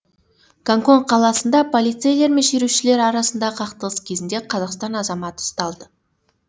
гонконг қаласында полицейлер мен шерушілер арасындағы қақтығыс кезінде қазақстан азаматы ұсталды